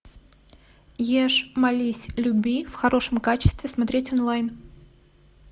ешь молись люби в хорошем качестве смотреть онлайн